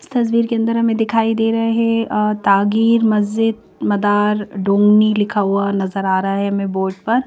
इसतस्वीर के अंदर हमें दिखाई दे रहा है अ तागीर मस्जिद मदार डोंगनी लिखा हुआ नजर आ रहा है हमें बोर्ड पर।